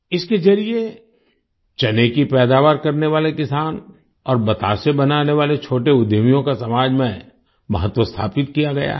इसके जरिये चने की पैदावार करने वाले किसान और बताशे बनाने वाले छोटे उद्यमियों का समाज में महत्व स्थापित किया गया है